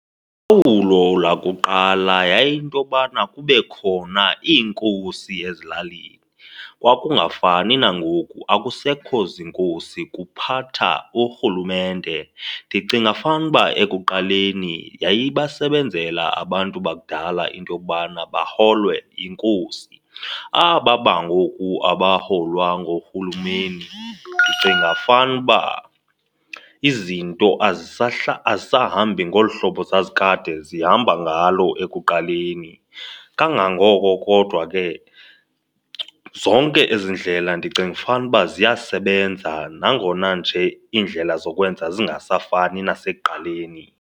lwakuqala yayiyinto yobana kube khona iinkosi ezilalini. Kwakungafani nangoku, akusekho ziinkosi kuphatha urhulumente. Ndicinga fanuba ekuqaleni yayibasebenzela abantu bakudala into yokubana baholwe yinkosi, aba bangoku abaholwa ngoohulumeni ndicinga fanuba izinto azisahambi ngolu hlobo zazikade zihamba ngalo ekuqaleni. Kangangoko kodwa ke, zonke ezi ndlela ndicinga fanuba ziyasebenza nangona nje iindlela zokwenza zingasafani nasekuqaleni.